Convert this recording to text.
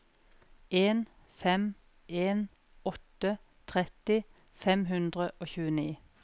en fem en åtte tretti fem hundre og tjueni